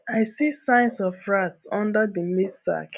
i see signs of rats under the maize sack